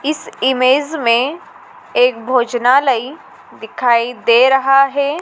इस इमेज में एक भोजनालय दिखाई दे रहा है।